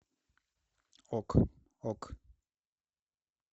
ок ок